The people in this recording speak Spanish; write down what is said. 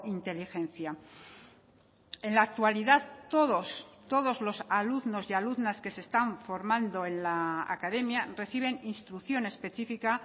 inteligencia en la actualidad todos todos los alumnos y alumnas que se están formando en la academia reciben instrucción específica